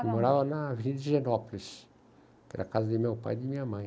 Mora na Avenida, que era a casa de meu pai e de minha mãe.